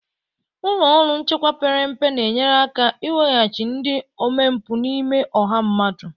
Ụlọ ọrụ nchekwa perempe na-enyere aka ịweghachi ndị omempụ n'ime ọha mmadụ.